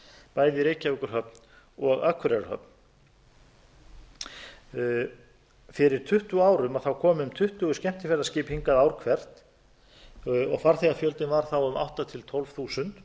bæði í reykjavíkurhöfn og akureyrarhöfn fyrir um tuttugu árum komu um tuttugu skemmtiferðaskip hingað ár hvert og farþegafjöldinn var þá um átta til tólf þúsund